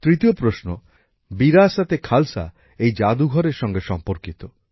তৃতীয় প্রশ্ন বিরাসত এ খালসা এই জাদুঘরএর সঙ্গে সম্পর্কিত